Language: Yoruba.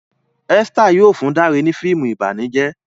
Esther yóò fún Dare ni fíìmù ìbànújẹ